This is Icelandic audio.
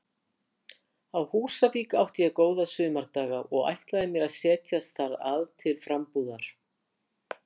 Á Húsavík átti ég góða sumardaga og ætlaði mér að setjast þar að til frambúðar.